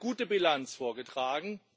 Sie haben eine gute Bilanz vorgetragen.